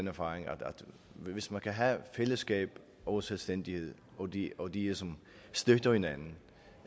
erfaring at hvis man kan have fællesskab og selvstændighed og de og de støtter hinanden